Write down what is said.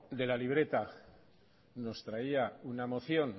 de la libreta nos traía una moción